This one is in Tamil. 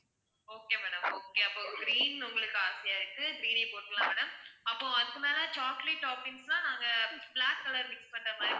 okay madam okay அப்போ green உங்களுக்கு ஆசையா இருக்கு green ஏ போட்டுடலாம் madam அப்போ அதுக்கு மேல chocolate toppings னா நாங்க black color mix பண்ற மாதிரி